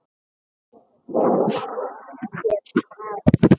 Pétur hét maður.